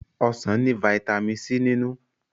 Ọsán ní vitamin C nínú.